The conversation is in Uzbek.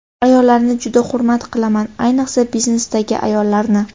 Ayollarni juda hurmat qilaman, ayiqsa biznesdagi ayollarni.